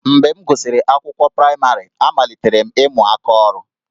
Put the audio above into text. Mgbe m gụsịrị akwụkwọ praịmarị, amalitere m ịmụ aka ọrụ